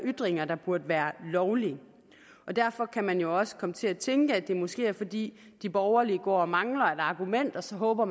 ytringer der burde være lovlige derfor kan man jo også komme til at tænke at det måske er fordi de borgerlige går og mangler et argument og så håber